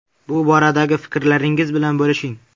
Bu boradagi fikrlaringiz bilan bo‘lishing.